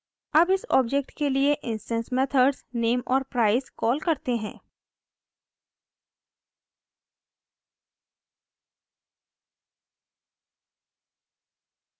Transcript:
अब इस ऑब्जेक्ट के लिए इंस्टैंस मेथड्स name और price कॉल करते हैं